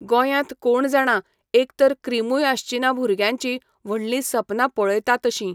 गोंयांत कोण जाणा एकतर क्रिमूय आसची ना भुरग्यांची व्हडलीं सपनां पळयता तशीं